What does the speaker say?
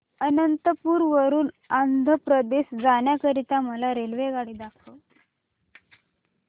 अनंतपुर वरून आंध्र प्रदेश जाण्या करीता मला रेल्वेगाडी दाखवा